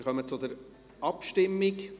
Dann kommen wir zur Abstimmung.